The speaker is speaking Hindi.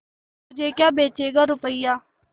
मुझे क्या बेचेगा रुपय्या